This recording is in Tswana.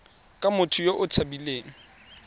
ke motho yo o tshabileng